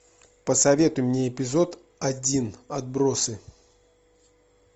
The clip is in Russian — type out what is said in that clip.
посоветуй мне эпизод один отбросы